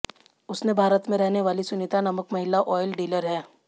उसने भारत में रहनेवाली सुनीता नामक महिला ऑयल डीलर है